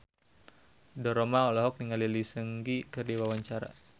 Ridho Roma olohok ningali Lee Seung Gi keur diwawancara